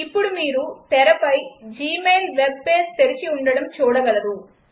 ఇప్పుడు మీరు తెరపై జీమెయిల్ వెబ్ పేజ్ తెరచి ఉండటం చూడగలరు